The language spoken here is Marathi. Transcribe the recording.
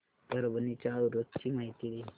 परभणी च्या उरूस ची माहिती दे